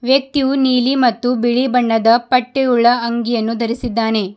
ವ್ಯಕ್ತಿಯು ನೀಲಿ ಮತ್ತು ಬಿಳಿ ಬಣ್ಣದ ಪಟ್ಟೆಯುಳ್ಳ ಅಂಗಿಯನ್ನು ಧರಿಸಿದ್ದಾನೆ.